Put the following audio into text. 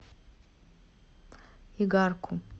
игарку